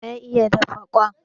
Wa ya iya dafa kwai?